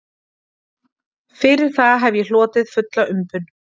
Fyrir það hef ég hlotið fulla umbun